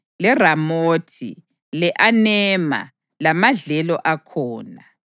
leRamothi le-Anema lamadlelo akhona;